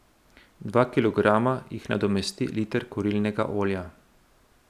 Dva kilograma jih nadomesti liter kurilnega olja.